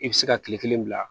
I bɛ se ka kile kelen bila